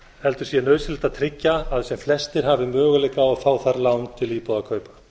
heldur sé nauðsynlegt að tryggja að sem flestir hafi möguleika á að fá þar lán til íbúðakaupa